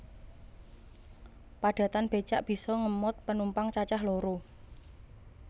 Padatan becak bisa ngemot penumpang cacah loro